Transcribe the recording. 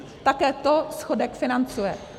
Také to schodek financuje.